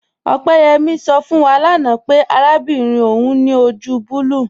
Opeyẹmi sọ fún wà láńà pẹ̀ àràbìnrin ọún ni ojú bùlùù.